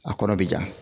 A kɔrɔ bɛ ja